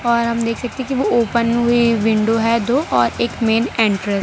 और हम देख सकते कि वो ओपन हुए विंडो है तो और एक मेन एंटर --